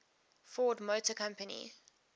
ford motor company